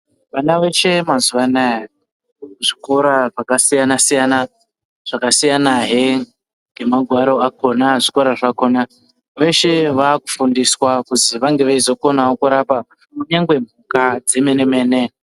Vana veshee mazuva anaya vanoende kuzvikora zvakasiyana siyana zvakasiyana hee ngemagwaro akona zvikora zvakona veshee vakufundiswa kuzi vange veyizokonawo kurapa kunyangwe mhuka dzemene mene.